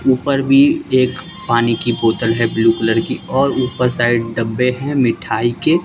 ऊपर भी एक पानी की बोतल है ब्लू कलर की और ऊपर साइड डब्बे हैं मिठाई के--